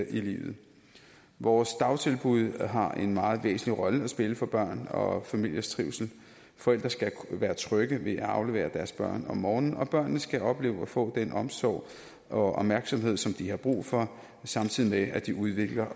i livet vores dagtilbud har en meget væsentlig rolle at spille for børn og familiers trivsel forældre skal være trygge ved at aflevere deres børn om morgenen og børnene skal opleve at få den omsorg og opmærksomhed som de har brug for samtidig med at de udvikler